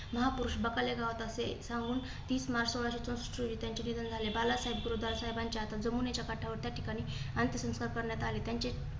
महापुरुष बकाले गावात असे सांगून तीस मार्च सोळाशे चौसष्ट रोजी त्यांचे निधन झाले. बाळासाहेब गुरुसाहेबांच्या जमुनाच्या काठावरील या ठिकाणी अंत्यसंस्कार करण्यात आले. त्यांचे